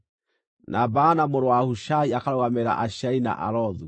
na Baana mũrũ wa Hushai akarũgamĩrĩra Asheri na Alothu;